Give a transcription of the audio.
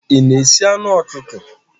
Ị na-esi anụ ọkụkọ?